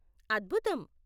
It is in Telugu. అద్భుతం!